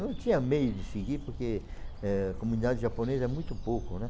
Não tinha meio de seguir porque eh a comunidade japonesa é muito pouco, né?